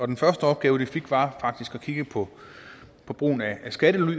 den første opgave det fik var faktisk at kigge på på brugen af skattely